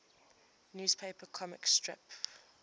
newspaper comic strip